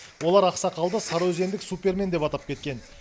олар ақсақалды сарыөзендік супермен деп атап кеткен